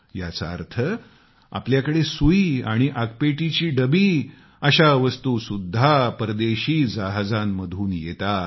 याचा अर्थ आपल्याकडे सुई आणि आगपेटीची डबी अशा वस्तू सुद्धा परदेशी जहाजांमधून येतात